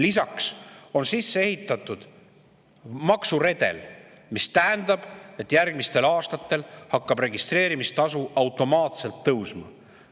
Lisaks on sisse ehitatud maksuredel, mis tähendab, et järgmistel aastatel hakkab registreerimistasu automaatselt tõusma.